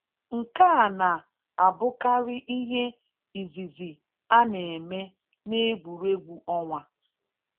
Nkéà na-abụkarị íhé ízìzì a na-eme n'égwùrégwù ọ́nwá